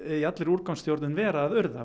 vera að urða